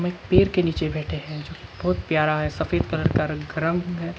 पेड़ के नीचे बैठे हैं जो बहुत प्यारा है सफेद कलर का घर का रंग है।